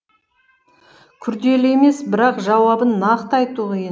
күрделі емес бірақ жауабын нақты айту қиын